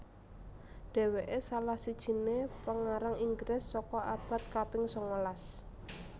Dhéwéké salah sijiné pengarang Inggris saka abad kaping sangalas